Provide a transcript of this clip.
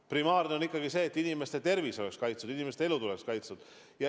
Primaarne on ikkagi see, et inimeste tervis oleks kaitstud, et inimeste elud oleksid kaitstud.